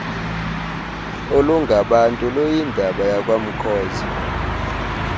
olungabantu luyindaba yakwamkhozo